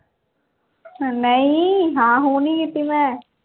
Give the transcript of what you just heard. ਨਹੀਂ ਹਾਂ ਉਹ ਨਹੀਂ ਕੀਤੀ ਮੈਂ